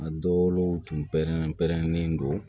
A dɔw tun pɛrɛnnen pɛrɛnnen don